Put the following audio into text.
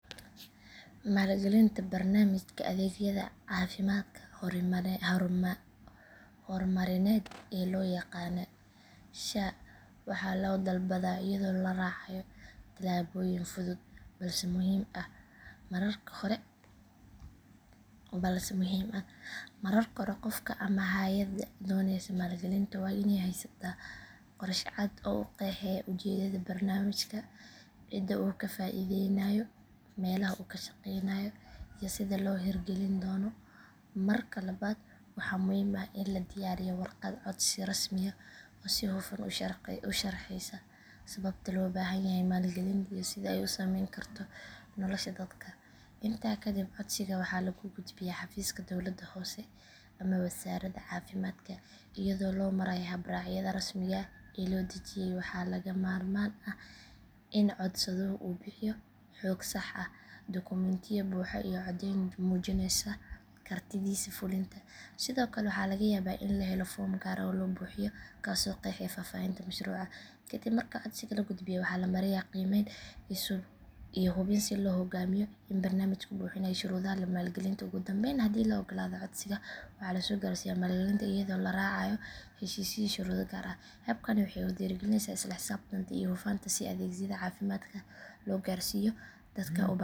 Maalgelinta barnaamijka adeegyada caafimaadka hormarineed ee loo yaqaan sha waxaa loo dalbadaa iyadoo la raacayo talaabooyin fudud balse muhiim ah. Marka hore qofka ama hay’adda doonaysa maalgelinta waa in ay haysataa qorshe cad oo qeexaya ujeedada barnaamijka, cidda uu ka faa’iideynayo, meelaha uu ka shaqeynayo iyo sida loo hirgelin doono. Marka labaad waxaa muhiim ah in la diyaariyo warqad codsi rasmi ah oo si hufan u sharxeysa sababta loo baahan yahay maalgelinta iyo sida ay u saameyn karto nolosha dadka. Intaa kadib codsiga waxaa lagu gudbiyaa xafiiska dowladda hoose ama wasaaradda caafimaadka iyadoo loo marayo habraacyada rasmiga ah ee loo dejiyay. Waxaa lagama maarmaan ah in codsaduhu uu bixiyo xog sax ah, dukumiintiyo buuxa iyo caddeyn muujinaysa kartidiisa fulinta. Sidoo kale waxaa laga yaabaa in la helo foom gaar ah oo la buuxiyo kaasoo qeexaya faahfaahinta mashruuca. Kadib marka codsiga la gudbiyo waxaa la mariyaa qiimeyn iyo hubin si loo go’aamiyo in barnaamijku buuxinayo shuruudaha maalgelinta. Ugu dambayn haddii la oggolaado codsiga waxaa lasoo gaarsiyaa maalgelinta iyadoo la raacayo heshiisyo iyo shuruudo gaar ah. Habkani wuxuu dhiirrigeliyaa isla xisaabtan iyo hufnaan si adeegyada caafimaadka loo gaarsiiyo dadka u baahan.